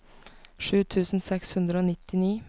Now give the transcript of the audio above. sju tusen seks hundre og nittini